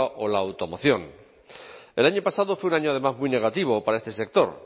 o la automoción el año pasado fue un año además muy negativo para este sector